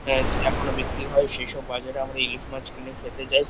আজ এখনো বিক্রি হয় সেইসব বাজারে আমরা ইলিশ মাছ কিনে খেতে যাই।